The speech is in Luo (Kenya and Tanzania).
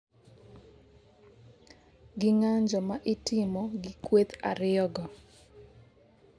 gi ng'anjo ma itimo gi kweth ariyogo